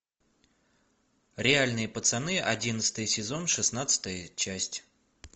реальные пацаны одиннадцатый сезон шестнадцатая часть